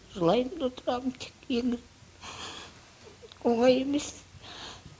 жылаймын да отырамын тек енді оңай емес